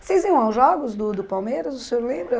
Vocês iam aos jogos do do Palmeiras, o senhor lembra?